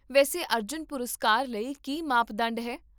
ਵੈਸੇ, ਅਰਜੁਨ ਪੁਰਸਕਾਰ ਲਈ ਕੀ ਮਾਪਦੰਡ ਹੈ?